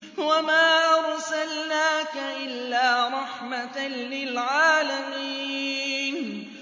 وَمَا أَرْسَلْنَاكَ إِلَّا رَحْمَةً لِّلْعَالَمِينَ